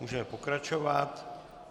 Můžeme pokračovat.